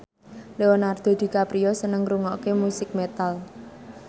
Leonardo DiCaprio seneng ngrungokne musik metal